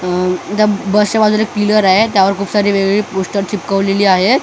अ त्या बसच्या बाजूला एक पिलर आहे त्यावर खूप सारे वेगवेगळे पोस्टर चिटकवलेले आहेत .